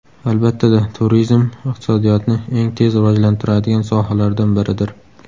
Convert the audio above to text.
Albatta-da, turizm iqtisodiyotni eng tez rivojlantiradigan sohalardan biridir.